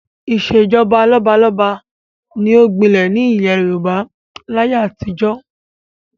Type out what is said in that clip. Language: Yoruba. Ìṣèjọba lọ́balọ́ba ni ó gbinlẹ̀ ní ilẹ̀ Yorùbá láyé àtijọ́